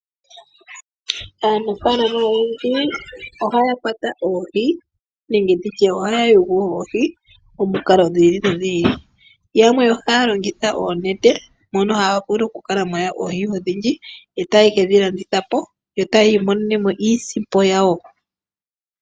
Aanafaalama oyendji ohaya kwata oohi nenge nditye ohaya wulu oohi omikalo dhiili no dhiili, yamwe ohaya longitha oonete mono haya vulu okukala yawula oohi odhindji etaye kedhilandithapo yo tayiimonenemo isimpo yawo.